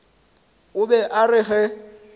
o be a re ge